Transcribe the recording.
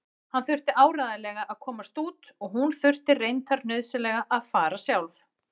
Hann þurfti áreiðanlega að komast út og hún þurfti reyndar nauðsynlega að fara sjálf.